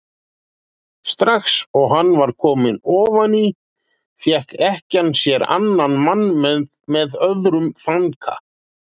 Strax og hann var kominn ofan í fékk ekkjan sér annan mann með öðrum þanka.